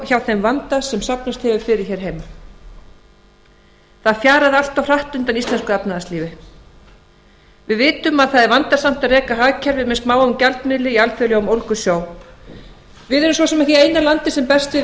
hjá þeim vanda sem safnast hefur fyrir hér heima það fjarar allt of hratt undan íslensku efnahagslífi við vitum að það er vandasamt að reka hagkerfi með smáum gjaldmiðli í alþjóðlegum ólgusjó við erum svo sem ekki eina landið sem berst við